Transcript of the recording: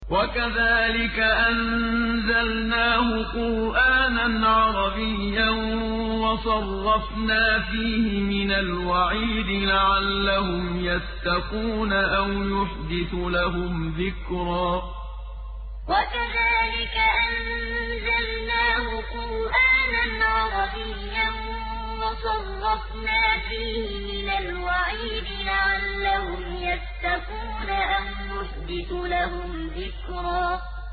وَكَذَٰلِكَ أَنزَلْنَاهُ قُرْآنًا عَرَبِيًّا وَصَرَّفْنَا فِيهِ مِنَ الْوَعِيدِ لَعَلَّهُمْ يَتَّقُونَ أَوْ يُحْدِثُ لَهُمْ ذِكْرًا وَكَذَٰلِكَ أَنزَلْنَاهُ قُرْآنًا عَرَبِيًّا وَصَرَّفْنَا فِيهِ مِنَ الْوَعِيدِ لَعَلَّهُمْ يَتَّقُونَ أَوْ يُحْدِثُ لَهُمْ ذِكْرًا